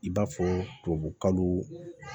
I b'a fɔ tubabukalo